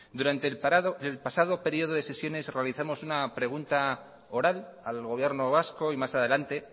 durante el pasado periodo de sesiones realizamos una pregunta oral al gobierno vasco y más adelante